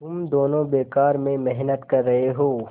तुम दोनों बेकार में मेहनत कर रहे हो